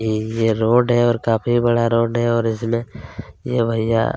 ये रोड है और काफी बड़ा रोड है और इसमें ये भईयां --.